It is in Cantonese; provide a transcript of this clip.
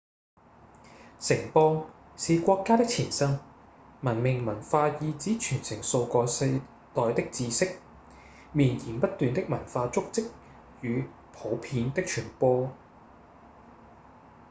城邦是國家的前身文明文化意指傳承數個世代的知識、綿延不斷的文化足跡與普遍的傳播